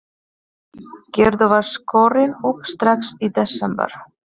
Gerður var skorin upp strax í desember.